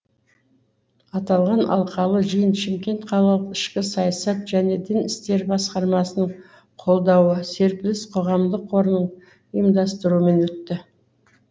аталған алқалы жиын шымкент қалалық ішкі саясат және дін істері басқармасының қолдауы серпіліс қоғамдық қорының ұйымдастыруымен өтті